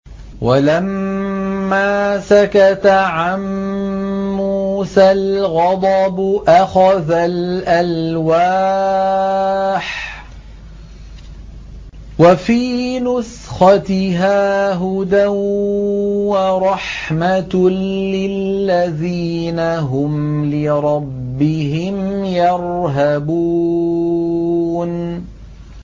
وَلَمَّا سَكَتَ عَن مُّوسَى الْغَضَبُ أَخَذَ الْأَلْوَاحَ ۖ وَفِي نُسْخَتِهَا هُدًى وَرَحْمَةٌ لِّلَّذِينَ هُمْ لِرَبِّهِمْ يَرْهَبُونَ